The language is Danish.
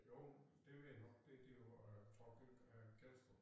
Jo det ved jeg nok det det var Torkild Kelstrup